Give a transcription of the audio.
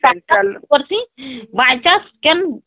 ମଝି ମଝି ହମ୍ପଡିଛି by chance କେନ